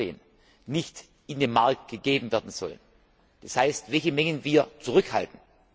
bzw. 2014 nicht in den Markt gegeben werden sollen, das heißt, welche Mengen wir zurückhalten.